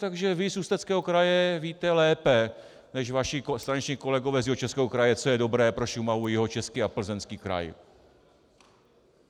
Takže vy z Ústeckého kraje víte lépe než vaši straničtí kolegové z Jihočeského kraje, co je dobré pro Šumavu, Jihočeský a Plzeňský kraj.